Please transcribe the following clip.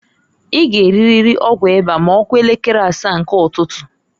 I g' eririri ọgwụ ịba ma ọkụo elekere asaa nke ụtụtụǃ